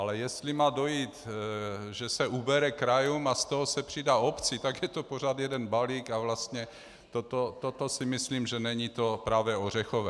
Ale jestli má dojít, že se ubere krajům a z toho se přidá obci, tak je to pořád jeden balík a vlastně toto si myslím, že není to pravé ořechové.